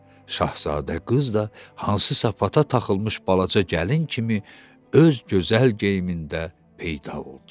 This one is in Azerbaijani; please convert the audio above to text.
Şahzadə qız da hansısa fata taxılmış balaca gəlin kimi öz gözəl geyimində peyda oldu.